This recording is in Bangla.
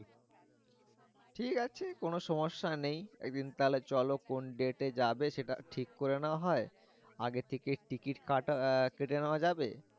ঠিক আছে কোন সমস্যা নেই এক দিন তাহলে চলো কোন date এ যাবে সেটা ঠিক করে নেওয়া হয় আগে থেকে ticket কাটা কেটে নেওয়া যাবে